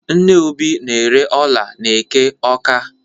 Nne Obi na-ere ọla n'eke Ọ́ká.